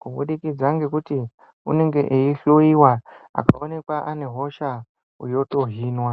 kubudikidza ngekuti unenge eihloiwa akaonekwa anehosha yotohinwa.